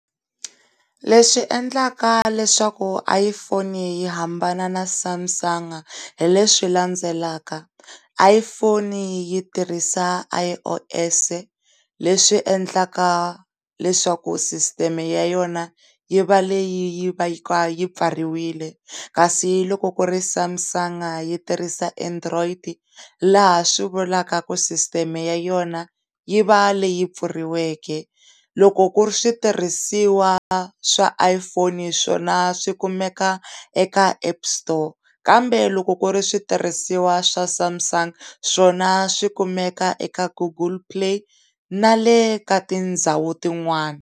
Leswi endlaka leswaku iPhone yi hambana na Samsung hileswi landzelaka, iPhone yi tirhisa I_O_S le swi endlaka leswaku sisiteme ya yona yi va leyi va ka pfariwile kasi loko ku ri Samsung yi tirhisa Android laha swi vulaka ku sisiteme ya yona yi va leyi pfuriweke loko ku ri switirhisiwa swa iphone swona swikumeka eka App store kambe loko ku ri switirhisiwa swa Samsung swona swikumeka eka Google play na le ka tindhawu tin'wana.